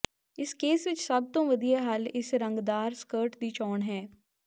ਇਸ ਕੇਸ ਵਿੱਚ ਸਭ ਤੋਂ ਵਧੀਆ ਹੱਲ ਇੱਕ ਰੰਗਦਾਰ ਸਕਰਟ ਦੀ ਚੋਣ ਹੈ